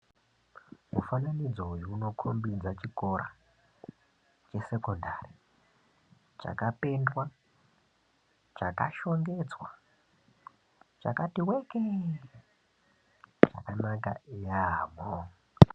Mufananidzo uyu unokombidza chikora chesekondari chakapendwa chakashongedzwa chakati weke zvakanaka yambo.